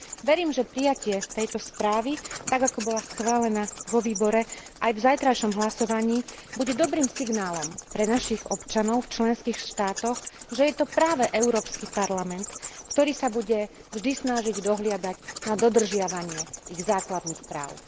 Verím, že prijatie tejto správy, tak ako bola schválená vo výbore, aj v zajtrajšom hlasovaní bude dobrým signálom pre našich občanov v členských štátoch, že je to práve Európsky parlament, ktorý sa bude vždy snažiť dohliadať na dodržiavanie ich základných práv.